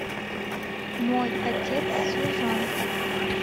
мой отец служанка